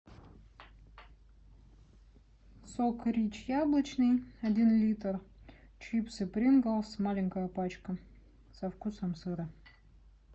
сок рич яблочный один литр чипсы принглс маленькая пачка со вкусом сыра